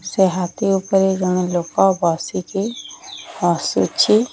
ସେ ହାତୀ ଓପରେ ଜଣେ ଲୋକ ବସିଚି ହସୁଚି ।